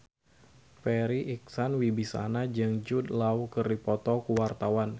Farri Icksan Wibisana jeung Jude Law keur dipoto ku wartawan